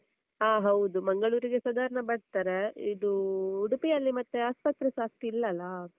ಹಾ ಹೌದು. ಮಂಗಳೂರಿಗೆ ಸಾದಾರ್ಣ ಬರ್ತಾರೆ. ಇದೂ ಉಡುಪಿ ಅಲ್ಲಿ ಮತ್ತೆ ಆಸ್ಪತ್ರೆ ಸ ಅಷ್ಟ್ ಇಲ್ಲಲ್ಲ.